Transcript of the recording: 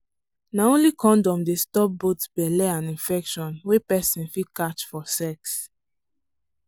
na only condom dey stop both belle and infection wey person fit catch for sex.